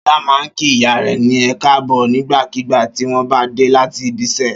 Ṣọlá máa ń kí ìyá rẹ̀ ní ẹ káàbọ̀ nígbàkigbà tí wọ́n bá dé láti ibiṣẹ́.